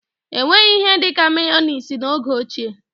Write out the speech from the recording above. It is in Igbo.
Enweghị ihe dịka meyoniz n'oge ochie.